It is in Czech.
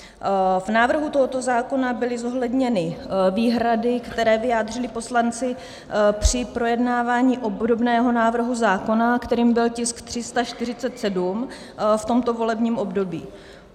V návrhu tohoto zákona byly zohledněny výhrady, které vyjádřili poslanci při projednávání obdobného návrhu zákona, kterým byl tisk 347, v tomto volebním období.